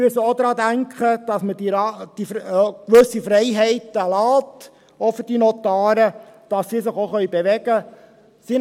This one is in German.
Wir müssen auch daran denken, dass wir den Notaren auch gewisse Freiheiten lassen, damit diese sich auch bewegen können.